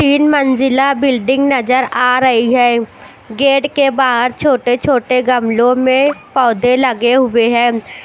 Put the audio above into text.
तीन मंजिला बिल्डिंग नजर आ रही है गेट के बहार छोटे छोटे गमलो में पौधे लगे हुए है --